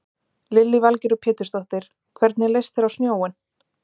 Lillý Valgerður Pétursdóttir: Hvernig leist þér á snjóinn?